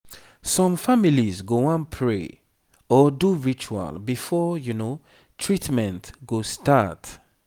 some families go wan pray or do ritual before treatment go start